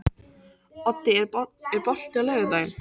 Oddi, er bolti á laugardaginn?